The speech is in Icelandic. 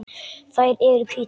Þær eru hvítar.